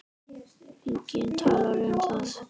Enginn talar um það.